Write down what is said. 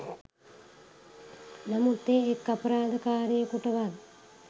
නමුත් ඒ එක් අපරාධකාරයකුටවත්